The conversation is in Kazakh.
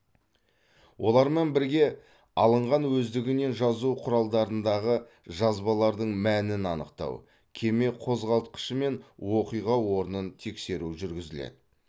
олармен бірге алынған өздігінен жазу құралдарындағы жазбалардың мәнін анықтау кеме қозғалтқышы мен оқиға орнын тексеру жүргізіледі